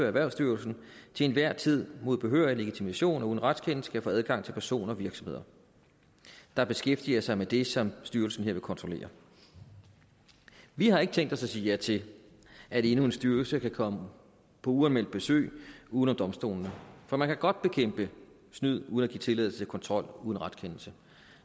erhvervsstyrelsen til enhver tid mod behørig legitimation og uden retskendelse kan få adgang til personer og virksomheder der beskæftiger sig med det som styrelsen her vil kontrollere vi har ikke tænkt os at sige ja til at endnu en styrelse kan komme på uanmeldt besøg uden om domstolene for man kan godt bekæmpe snyd uden at give tilladelse til kontrol uden retskendelse